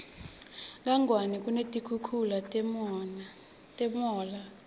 kangwane kunetikhukhula namunla